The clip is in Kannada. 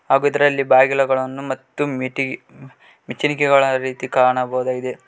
ಹಾಗು ಇದರಲ್ಲಿ ಬಾಗಿಲುಗಳನ್ನು ಮತ್ತು ಮೆಟ್ಟಿ ನಿಚ್ಚಣಿಕೆ ರೀತಿ ಕಾಣಬಹುದಾಗಿದೆ.